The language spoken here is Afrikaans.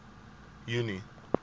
junie